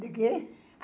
De quê?